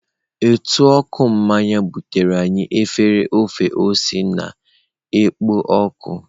Ntụ ọka mmanya butere anyị efere ofe ose na-ekpo ọkụ.